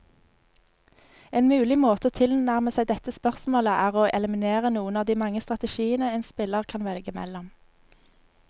En mulig måte å tilnærme seg dette spørsmålet, er å eliminere noen av de mange strategiene en spiller kan velge mellom.